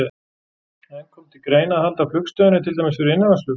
En kom til greina að halda flugstöðinni til dæmis fyrir innanlandsflug?